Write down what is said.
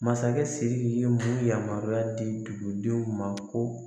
Masakɛ Siriki ye mun yamaruya di dugudenw ma ko